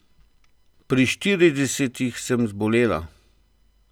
Pri štiridesetih sem zbolela.